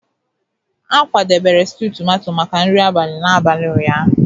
A kwadebere stew tomato maka nri abalị n'abalị ụnyaahụ.